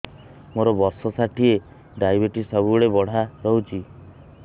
ମୋର ବର୍ଷ ଷାଠିଏ ଡାଏବେଟିସ ସବୁବେଳ ବଢ଼ା ରହୁଛି